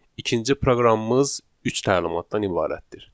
İkinci proqramımız üç təlimatdan ibarətdir.